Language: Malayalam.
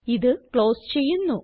ഇത് ക്ലോസ് ചെയ്യുന്നു